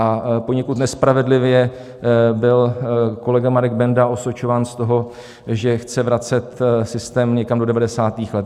A poněkud nespravedlivě byl kolega Marek Benda osočován z toho, že chce vracet systém někam do 90. let.